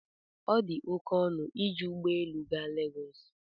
ọ dị oke ọnụ iji ụgbọ elu gaa Legọs